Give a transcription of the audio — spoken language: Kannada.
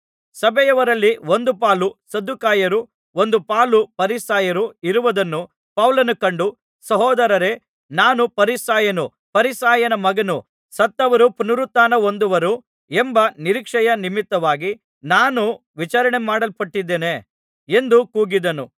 ಸಭೆಯವರಲ್ಲಿ ಒಂದು ಪಾಲು ಸದ್ದುಕಾಯರೂ ಒಂದು ಪಾಲು ಫರಿಸಾಯರೂ ಇರುವುದನ್ನು ಪೌಲನು ಕಂಡು ಸಹೋದರರೇ ನಾನು ಫರಿಸಾಯನು ಫರಿಸಾಯನ ಮಗನು ಸತ್ತವರು ಪುನರುತ್ಥಾನಹೊಂದುವರು ಎಂಬ ನಿರೀಕ್ಷೆಯ ನಿಮಿತ್ತವಾಗಿ ನಾನು ವಿಚಾರಣೆಮಾಡಲ್ಪಡುತ್ತಿದ್ದಾನೆ ಎಂದು ಕೂಗಿದನು